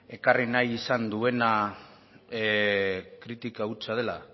ekarri nahi izan duena kritika hutsa dela